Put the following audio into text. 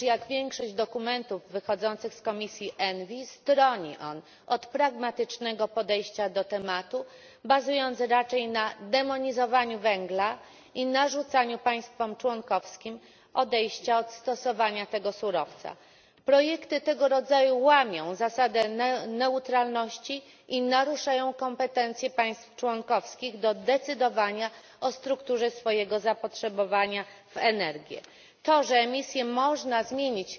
Pani Przewodnicząca! Nie popieram tego projektu, gdyż jak większość dokumentów wychodzących z komisji ENVI stroni on od pragmatycznego podejścia do tematu, bazując raczej na demonizowaniu węgla i narzucaniu państwom członkowskim odejścia od stosowania tego surowca. Projekty tego rodzaju łamią zasadę neutralności i naruszają kompetencje państw członkowskich do decydowania o strukturze swojego zapotrzebowania w energię. To, że emisje można zmienić